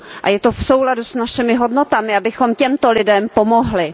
A je to v souladu s našimi hodnotami, abychom těmto lidem pomohli.